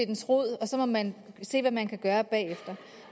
dens rod og så må man se hvad man kan gøre bagefter